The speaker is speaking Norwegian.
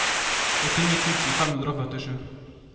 åttini tusen fem hundre og førtisju